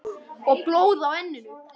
Blóð á enninu.